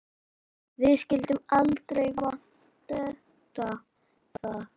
Við skyldum aldrei vanmeta það.